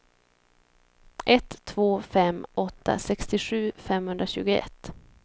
ett två fem åtta sextiosju femhundratjugoett